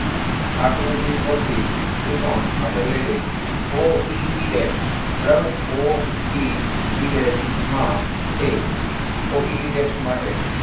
આકૃતિ પરથી ત્રિકોણ આપણે લઈ લઈએ o e e desh બરાબર o e e desh માટે o e e desh માટે